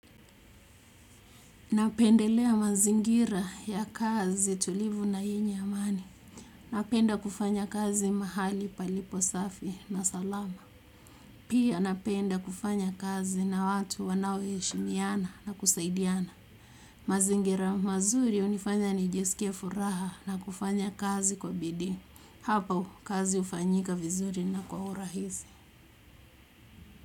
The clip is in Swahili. Napendelea mazingira ya kazi tulivu na yenye amani. Napenda kufanya kazi mahali palipo safi na salama. Pia napenda kufanya kazi na watu wanao heshimiana na kusaidiana. Mazingira mazuri hunifanya nijisikie furaha na kufanya kazi kwa bidii. Hapo kazi hufanyika vizuri na kwa urahisi.